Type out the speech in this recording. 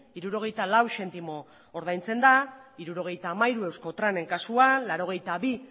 hirurogeita lau zentimo ordaintzen da hirurogeita hamairu euskotrenen kasuan laurogeita bi